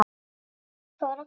Allt fór á hvolf.